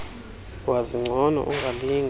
wazi ngcono ungalinge